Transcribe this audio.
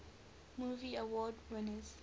movie award winners